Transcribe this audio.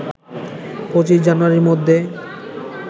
২৫ জানুয়ারির মধ্যে